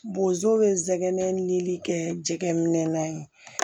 Bozo bɛ n sɛgɛn ni kɛ jɛgɛminɛ ye